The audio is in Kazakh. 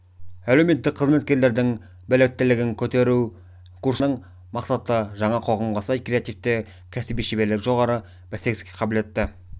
әлеуметтік қызметкерлердің біліктілігін көтеру курсына дайындалған бағдарламаның мақсаты жаңа қоғамға сай креативті кәсіби шеберлігі жоғары бәсекеге қабілетті